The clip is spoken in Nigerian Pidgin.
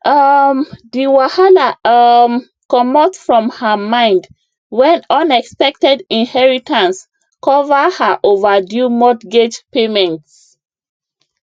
um the wahala um comot from her mind when unexpected inheritance cover her overdue mortgage payments